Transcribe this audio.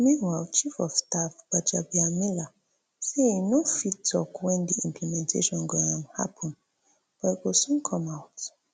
meanwhile chief of staff gbajabiamila say e no fit tok wen di implementation go um happun but e go soon come out